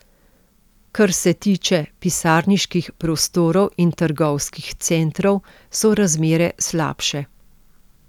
Kar se tiče pisarniških prostorov in trgovskih centrov, so razmere slabše.